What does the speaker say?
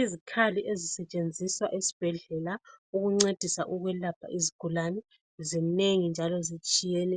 Izikhali ezisetshenziswa esibhedlela ukuncedisa ukwelapha izigulane zinengi njalo zitshiyene.